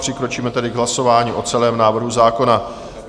Přikročíme tedy k hlasování o celém návrhu zákona.